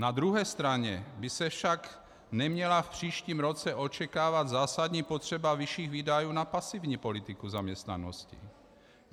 Na druhé straně by se však neměla v příštím roce očekávat zásadní potřeba vyšších výdajů na pasivní politiku zaměstnanosti.